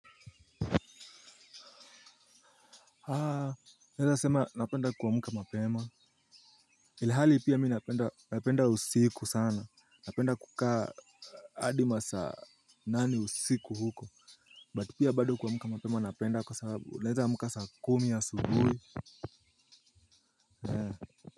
Haa naweza sema napenda kuamka mapema. Ilhali pia mimi napenda usiku sana napenda kukaa hadi masaa nane usiku huko But pia bado kuamka mapema napenda kwa sababu naweza amka saa kumi asubuhi.